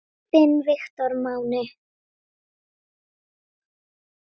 Þinn Viktor Máni.